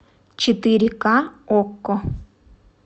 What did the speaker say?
четыре ка окко